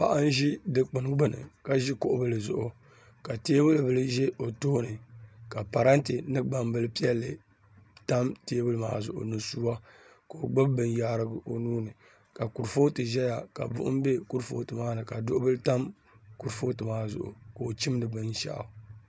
Paɣa n ʒi dikpuni gbuni ka ʒi kuɣu bili zuɣu ka teebuli ʒɛ o tooni ka parantɛ ni gbambili piɛlli tam teebuli maa zuɣu ni suwa ka o gbubi binyaarigu o nuuni ka kurifooti ʒɛya ka buɣum bɛ kurifooti maa ni ka duɣu bili tam kuripooti maa zuɣu ka o chimdi binshaɣu